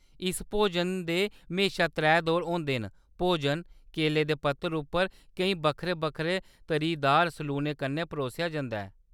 इस भोजन दे म्हेशा त्रै दौर होंदे न, भोजन केले दे पत्तरें उप्पर केईं बक्खरे-बक्खरे तरीदार सलूने कन्नै परोसेआ जंदा ऐ।